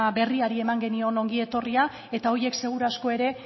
berriari eman genion ongi etorria eta haiek seguru aski ere